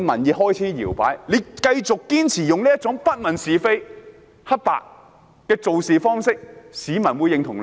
如果他們繼續堅持不問是非黑白，還會得到市民的認同嗎？